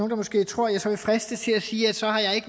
der måske tror at jeg så vil fristes til at sige at så har jeg